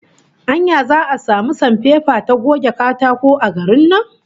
Anya za'a samu sanpepa ta goge katako a garin nan?